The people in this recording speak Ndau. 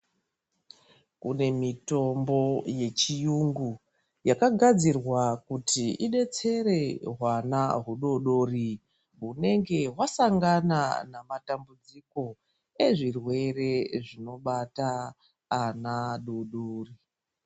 Kune mitombo yechiyungu yakagadzirwa kuti idetsere hwana hudoodori hunenge hwasangana namatambudziko ezvirwere zvinobata ana adoodori.